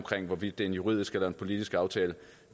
hvorvidt det er en juridisk eller en politisk aftale